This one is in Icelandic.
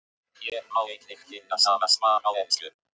Hér má einnig finna sama svar á ensku.